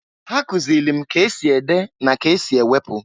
Ha kụzịlị m k' esi ede na k' esi ewepu.